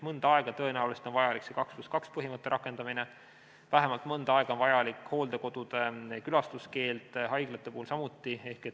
Mõnda aega tõenäoliselt on vajalik 2 + 2 põhimõtte rakendamine, vähemalt mõnda aega on vajalik hooldekodude külastamise keeld, haiglate puhul samuti.